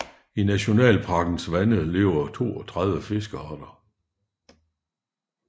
I nationalparkens vande lever 32 fiskearter